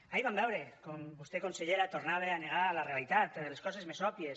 ahir vam veure com vostè consellera tornava a negar la realitat les coses més òbvies